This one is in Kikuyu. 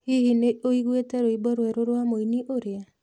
Hihi nĩ wĩiguĩte rwĩmbo rwerũ rwa mũini ũrĩa?